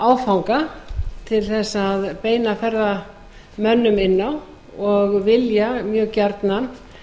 áfanga til að beina ferðamönnum inn á og vilja mjög gjarnan